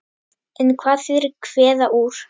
En hvað þýðir kveða úr?